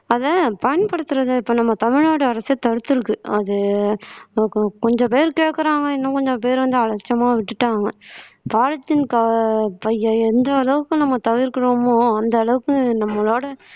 அத பயன்படுத்துறதை இப்ப நம்ம தமிழ்நாடு அரசு தடுத்திருக்கு அது கொ கொஞ்சம் பேரு கேட்குறாங்க இன்னும் கொஞ்சம் பேரு வந்து அலட்சியமா விட்டுட்டாங்க polythene co பைய எந்த அளவுக்கு நம்ம தவிர்க்கிறோமோ அந்த அளவுக்கு நம்மளோட